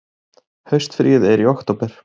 Haustfríið er í október.